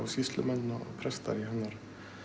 sýslumenn og prestar í hennar